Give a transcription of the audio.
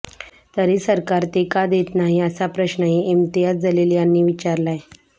तरी सरकार ते का देत नाही असा प्रश्नही इम्तियाज जलील यांनी विचारलाय